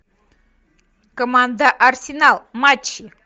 команда арсенал матч